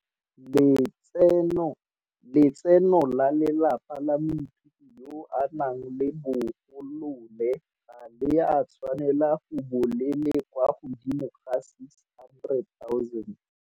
Letseno la lelapa la moithuti yo a nang le bo golole ga le a tshwanela go bo le le kwa godimo ga R600 000.